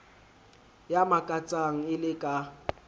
ya makatsang e le ka